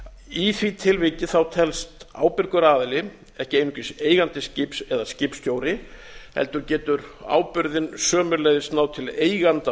í því tilviki telst ábyrgur aðili ekki einungis eigandi skips eða skipstjóri heldur getur ábyrgðin sömuleiðis náð til eiganda